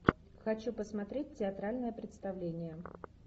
хочу посмотреть театральное представление